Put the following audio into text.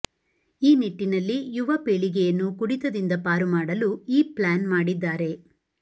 ಈ ನಿಟ್ಟಿನಲ್ಲಿ ಯುವ ಪೀಳಿಗೆಯನ್ನು ಕುಡಿತದಿಂದ ಪಾರು ಮಾಡಲು ಈ ಪ್ಲಾನ್ ಮಾಡಿದ್ದಾರೆ